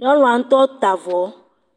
nyɔnua ŋutɔ ta avɔ.